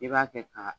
I b'a kɛ ka